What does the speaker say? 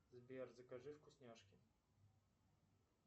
сбер закажи вкусняшки